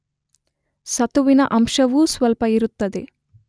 ಸತುವಿನ ಅಂಶವೂ ಸ್ವಲ್ಪ ಇರುತ್ತದೆ.